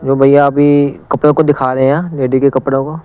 जो भैया अभी कपड़ों को दिखा रहे हैं लेडी के कपड़ों को।